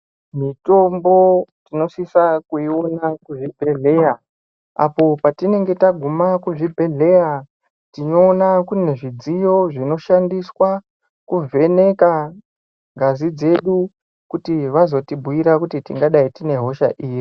Mitombo tinosisa kuiona kuzvibhedhleya. Apo patinenge taguma kuzvibhedhleya tinoona kune zvidziyo zvinoshandiswa kuvheneka ngazi dzedu kuti vazotibhuira kuti tingadai tine hosha iri.